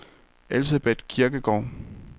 Elsebeth Kirkegaard